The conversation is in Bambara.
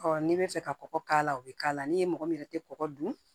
n'i bɛ fɛ ka kɔgɔ k'a la o bɛ k'a la ni mɔgɔ min yɛrɛ tɛ kɔgɔ dun